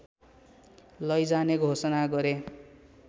लैजाने घोषणा गरे